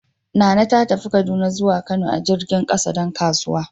Nana ta tafi Kaduna zuwa Kano a jirgin kasa dan kasuwanci.